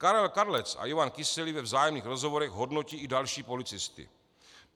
Karel Kadlec a Ivan Kyselý ve vzájemných rozhovorech hodnotí i další policisty.